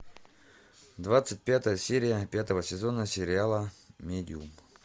двадцать пятая серия пятого сезона сериала медиум